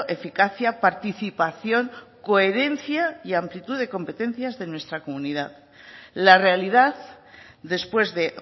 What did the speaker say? eficacia participación coherencia y amplitud de competencias de nuestra comunidad la realidad después de